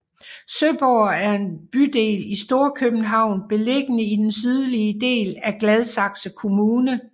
Søborg er en bydel i Storkøbenhavn beliggende i den sydlige del af Gladsaxe kommune